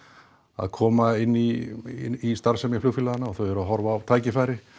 að koma inn í starfsemi flugfélaganna og þau eru að horfa á tækifæri